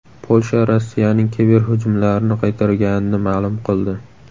Polsha Rossiyaning kiberhujumlarini qaytarganini ma’lum qildi.